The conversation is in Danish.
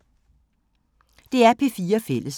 DR P4 Fælles